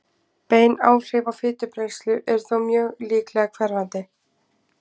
Bein áhrif á fitubrennslu eru þó mjög líklega hverfandi.